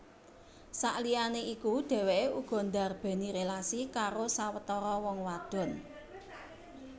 Saliyané iku dhèwèké uga ndarbèni rélasi karo sawetara wong wadon